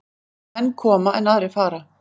Menn koma, en aðrir fara.